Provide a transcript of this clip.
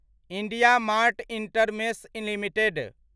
IndiaMART Intermesh limited